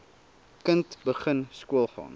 kind begin skoolgaan